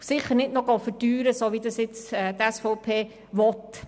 Daher sollte man sie sicher nicht noch verteuern, so wie das die SVP will.